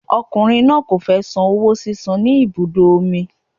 Ọkùnrin náà kò fẹ san owó sísan ní ibùdó omi.